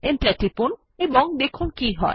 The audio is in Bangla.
এন্টার টিপুন এবং দেখুন কী হয়